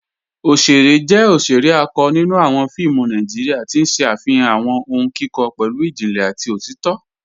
Ọ̀ṣẹ̀rẹ̀ jẹ́ ọ̀ṣẹ̀rẹ̀ àkọ́ nínú awọn fíìmù Nàìjíríà, tí n ṣẹ afihan awọn ọ̀hùn kíkọ pẹ̀lú ìjìnlẹ̀ àti òtìtọ̀.